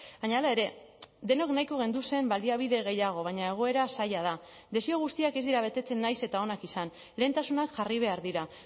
baina hala ere denok nahiko genduzen baliabide gehiago baina egoera zaila da desio guztiak ez dira betetzen nahiz eta onak izan lehentasunak jarri behar dira